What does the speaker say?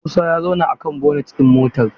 Musa ya zauna akan bonet ɗin motar.